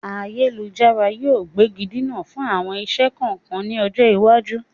Ayélujára yìí ó gbégidinà fún àwọn iṣẹ́ kọ̀ọ̀kan ni ọjọ́ iwájú.